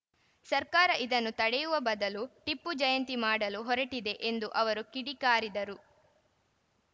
ಸರ್ಕಾರ ಇದನ್ನು ತಡೆಯುವ ಬದಲು ಟಿಪ್ಪು ಜಯಂತಿ ಮಾಡಲು ಹೊರಟಿದೆ ಎಂದು ಅವರು ಕಿಡಿಕಾರಿದರು